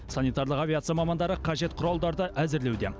санитарлық авиация мамандары қажет құралдарды әзірлеуде